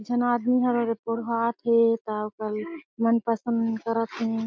एक झन आदमी ह वो पोरहात हे ता ओ कर मन पसंद करत हें।